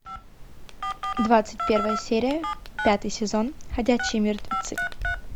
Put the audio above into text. двадцать первая серия пятый сезон ходячие мертвецы